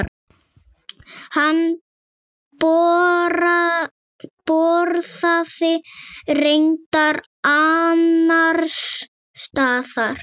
Hann borðaði reyndar annars staðar.